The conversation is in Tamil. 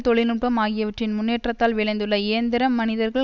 தொழில்நுட்பம் ஆகியவற்றின் முன்னேற்றத்தால் விளைந்துள்ள இயந்திர மனிதர்கள்